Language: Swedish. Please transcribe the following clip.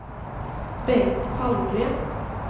Bengt Palmgren